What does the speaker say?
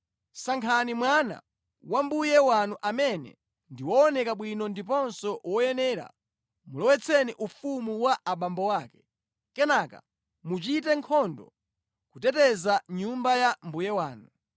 sankhani mwana wa mbuye wanu amene ndi wooneka bwino ndiponso woyenera, mulowetseni ufumu wa abambo ake. Kenaka muchite nkhondo kuteteza nyumba ya mbuye wanu.”